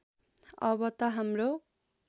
अब त हाम्रो